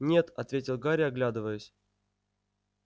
нет ответил гарри оглядываясь